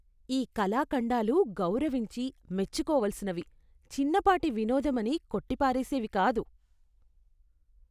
ఈ కళాఖండాలు గౌరవించి, మెచ్చుకోవలసినవి, చిన్నపాటి వినోదం అని కొట్టి పారేసేవి కాదు.